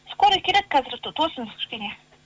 скорый келеді қазір тосыңыз кішкене